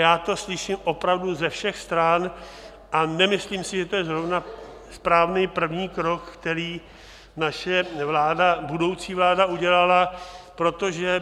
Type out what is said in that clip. Já to slyším opravdu ze všech stran a nemyslím si, že to je zrovna správný první krok, který naše budoucí vláda udělala, protože...